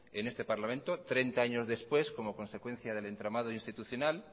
en este parlamento treinta años después como consecuencia del entramado institucional